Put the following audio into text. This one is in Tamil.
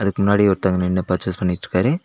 இதுக்கு முன்னாடி ஒருத்தங்க நின்னு பர்சேஸ் பண்ணிட்டிருக்காரு.